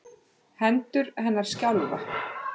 Hendur hennar skjálfa.